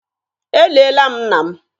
E liela mụ nna m.